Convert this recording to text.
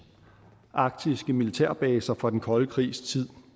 arktiske militærbaser fra den kolde krigs tid